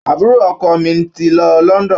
Àbúrò ọkọ mi ti lọ London.